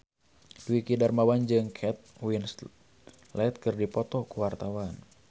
Dwiki Darmawan jeung Kate Winslet keur dipoto ku wartawan